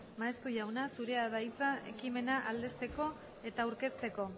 maeztu jauna zurea da hitza ekimena aldezteko eta aurkezteko